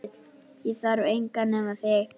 Ég þarf engan nema þig